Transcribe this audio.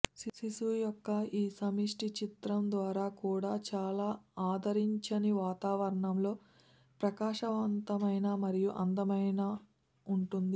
శిశువు యొక్క ఈ సమిష్టి చిత్రం ద్వారా కూడా చాలా ఆదరించని వాతావరణంలో ప్రకాశవంతమైన మరియు అందమైన ఉంటుంది